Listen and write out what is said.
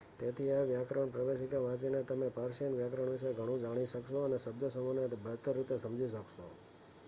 તેથી આ વ્યાકરણ પ્રવેશિકા વાંચીને તમે પર્શિયન વ્યાકરણ વિશે ઘણું જાણી શકશો અને શબ્દસમૂહોને બહેતર રીતે સમજી શકશો